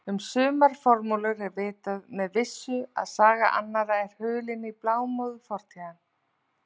Um sumar formúlur er vitað með vissu en saga annarra er hulin í blámóðu fortíðarinnar.